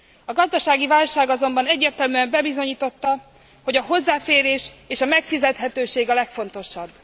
A gazdasági válság azonban egyértelműen bebizonyította, hogy a hozzáférés és a megfizethetőség a legfontosabb.